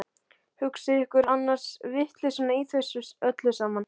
Hugsið ykkur annars vitleysuna í þessu öllu saman!